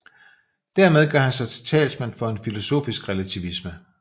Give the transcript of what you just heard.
Dermed gør han sig til talsmand for en filosofisk relativisme